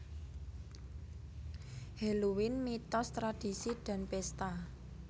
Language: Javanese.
Halloween Mitos Tradisi dan Pesta